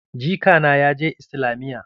Jika na ya je islamiyya.